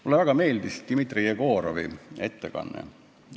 Mulle väga meeldis Dmitri Jegorovi ettekanne.